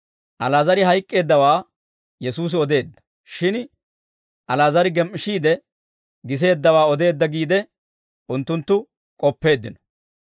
Ali'aazar hayk'k'eeddawaa Yesuusi odeedda; shin Ali'aazar gem"ishiide giseeddawaa odeedda giide, unttunttu k'oppeeddino.